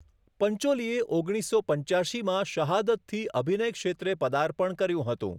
પંચોલીએ ઓગણીસસો પંચ્યાશીમાં 'શહાદત'થી અભિનય ક્ષેત્રે પદાર્પણ કર્યું હતું.